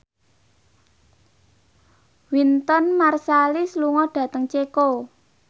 Wynton Marsalis lunga dhateng Ceko